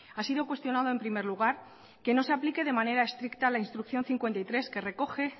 ha sido cuestionado en primer lugar que no se aplique de manera estricta la instrucción cincuenta y tres que recoge